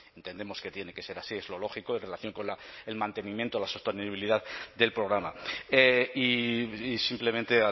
entendemos que tiene que ser así es lo lógico en relación con el mantenimiento la sostenibilidad del programa y simplemente